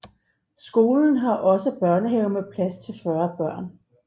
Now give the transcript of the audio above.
Skolen har også børnehave med plads til 40 børn